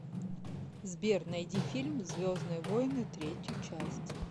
сбер найди фильм звездные войны третью часть